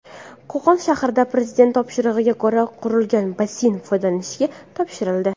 Qo‘qon shahrida Prezident topshirig‘iga ko‘ra qurilgan basseyn foydalanishga topshirildi.